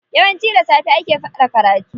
Yawanci da safe ake fara karatu.